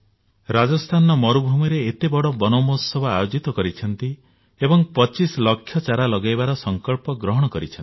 ରାଜସ୍ଥାନର ମରୁଭୂମିରେ ଏତେ ବଡ ବନ ମହୋତ୍ସବ ଆୟୋଜିତ କରିଛନ୍ତି ଏବଂ ପଚିଶ ଲକ୍ଷ ଚାରା ଲଗାଇବାର ସଂକଳ୍ପ ଗ୍ରହଣ କରିଛନ୍ତି